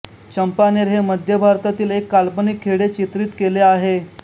चंपानेर हे मध्य भारतातील एक काल्पनिक खेडे चित्रित केले आहे